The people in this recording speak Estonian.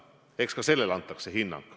Eks ka sellele antakse hinnang.